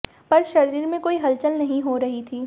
पर शरीर में कोई हलचल नहीं हो रही थी